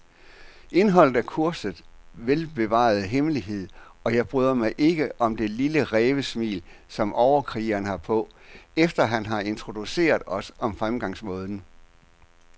Indholdet er kursets velbevarede hemmelighed, og jeg bryder mig ikke om det lille rævesmil, som overkrigeren har på, efter han har introduceret os om fremgangsmåden.